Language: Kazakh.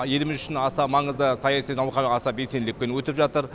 еліміз үшін аса маңызды саяси науқан аса белсенділікпен өтіп жатыр